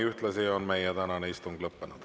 Ühtlasi on meie tänane istung lõppenud.